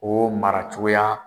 O mara cogoya